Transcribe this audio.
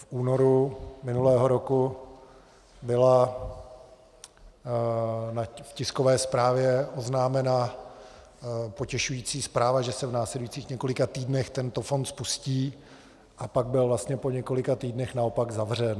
V únoru minulého roku byla v tiskové zprávě oznámena potěšující zpráva, že se v následujících několika týdnech tento fond spustí, a pak byl vlastně po několika týdnech naopak zavřen.